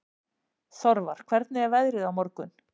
Þorvar, hvernig er veðrið á morgun?